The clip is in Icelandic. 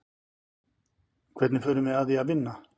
Hvernig fórum við að því að vinna?